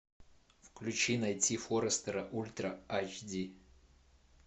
включи найти форестера ультра айч ди